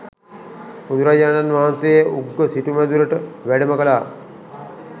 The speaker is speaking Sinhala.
බුදුරජාණන් වහන්සේ උග්ග සිටුමැදුරට වැඩම කළා.